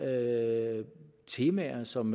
er temaer som